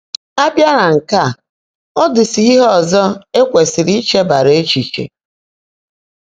Á bịá nà nkè á, ọ́ ḍị́ ísi íhe ọ́zọ́ é kwèsị́rị́ ícheèbáárá échíché.